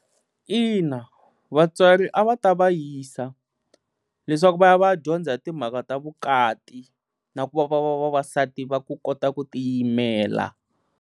Ina vatswari a va ta va yisa leswaku va ya va ya dyondza hi timhaka ta vukati na ku va va va vavasati va ku kota ku tiyimela.